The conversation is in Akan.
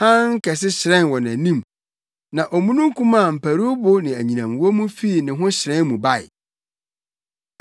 Hann kɛse hyerɛn wɔ nʼanim, na omununkum a mparuwbo ne anyinam wɔ mu fii ne ho hyerɛn mu bae.